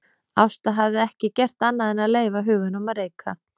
Ásta hafði ekki gert annað en að leyfa huganum að reika.